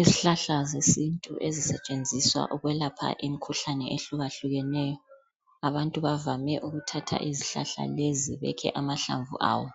Izihlahla zesintu ezisetshenziswa ukwelapha imikhuhlane ehlukahlukeneyo. Abantu bavame ukuthatha izihlahla lezi bekhe amahlamvu awo